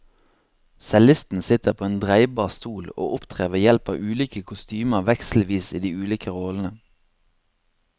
Cellisten sitter på en dreibar stol og opptrer ved hjelp av ulike kostymer vekselvis i de ulike rollene.